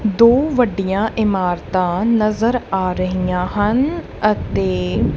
ਦੋ ਵੱਡੀਆਂ ਇਮਾਰਤਾਂ ਨਜ਼ਰ ਆ ਰਹੀਆਂ ਹਨ ਅਤੇ--